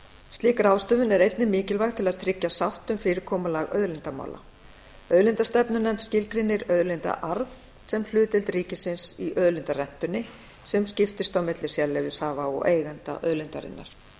slík ráðstöfun er einnig mikilvæg til að tryggja sátt um fyrirkomulag auðlindamála auðlindastefnunefnd skilgreinir auðlindaarð sem hlutdeild ríkisins í auðlindarentunni sem skiptist á milli sérleyfishafa og eigenda auðlindarinnar